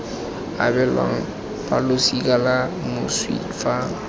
abelwang balosika la moswi fa